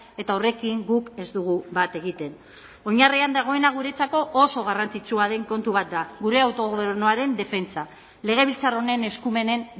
eta horrekin guk ez dugu bat egiten oinarrian dagoena guretzako oso garrantzitsua den kontu bat da gure autogobernuaren defentsa legebiltzar honen eskumenen